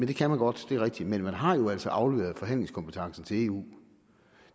det kan man godt det er rigtigt men man har jo altså afleveret forhandlingskompetencen til eu